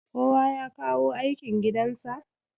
kowa ya kawo aikin gidansa?